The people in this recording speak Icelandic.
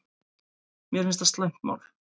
Mér finnst það slæmt mál